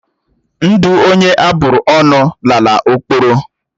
Ndụ onye aburu ọnụ lala ọkpọrọ.